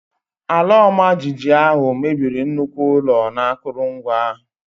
Ala ọmajiji ahụ mebiri nnukwu ụlọ na akụrụngwa.